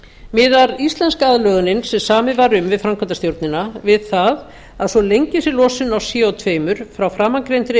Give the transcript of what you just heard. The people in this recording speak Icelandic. miðar íslenska aðlögunin sem samið var um við framkvæmdastjórnina við það að svo lengi sem losun á co tveir frá framangreindri